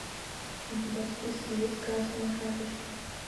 у тебя в списке есть красная шапочка